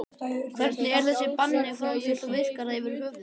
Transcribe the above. Hvernig er þessu banni framfylgt og virkar það yfir höfuð?